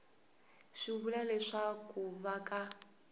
swi vula leswaku va ka